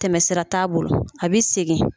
Tɛmɛsira t'a bolo a bi segin.